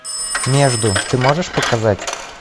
между ты можешь показать